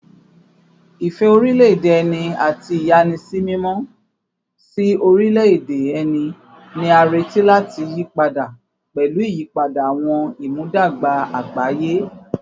Ìfẹ́ orílẹ̀-èdè ẹni àti ìyàsímímọ́ sí orílẹ̀-èdè ẹni ni a retí láti yí padà pẹ̀lú ìyípadà àwọn ìmúdàgba àgbáyé